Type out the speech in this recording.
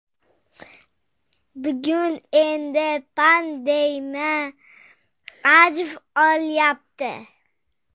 Bugun endi pandemiya avj olyapti.